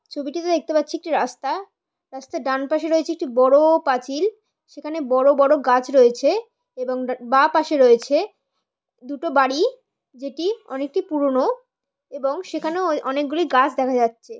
ছবিটিতে দেখতে পাচ্ছি একটি রাসস্তা রাস্তার ডান পাশে রয়েছে একটি বড়োও পাঁচিল সেখানে বড়ো বড়ো গাছ রয়েছে এবং ডা বাঁ পাশে রয়েছে দুটো বাড়ি যেটি অনেকটি পুরনো এবং সেখানেও অনেকগুলি গাছ দেখা যাছে।